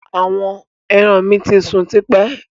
Àwọn ẹran mi to sún tipẹ́